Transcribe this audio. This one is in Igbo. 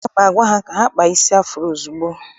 Aga m agwa ha gaa kpaa isi afuro ozugbo!